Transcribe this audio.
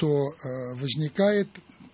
то возникает